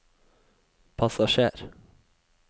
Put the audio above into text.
passasjer